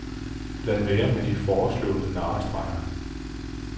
Lad være med de foreslåede narrestreger.